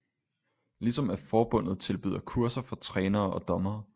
Ligesom at forbundet tilbyder kurser for trænere og dommere